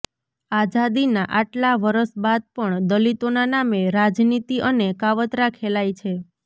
આઝાદીનાં આટલાં વરસ બાદ પણ દલિતોના નામે રાજનીતિ અને કાવતરાં ખેલાય છે